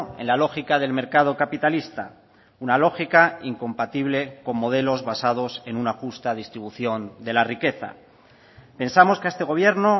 en la lógica del mercado capitalista una lógica incompatible con modelos basados en una justa distribución de la riqueza pensamos que a este gobierno